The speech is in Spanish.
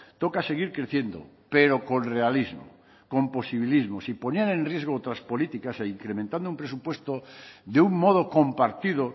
toca seguir creciendo pero con realismo con posibilismo sin poner en riesgo otras políticas e incrementando un presupuesto de un modo compartido